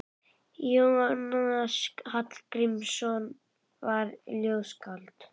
Jónas Hallgrímsson var ljóðskáld.